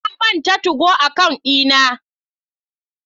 Na manta 2go account dina.